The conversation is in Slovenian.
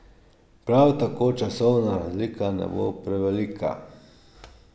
Prav tako časovna razlika ne bo prevelika.